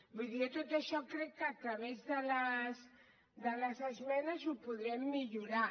vull dir jo tot això crec que a través de les esmenes ho podrem millorar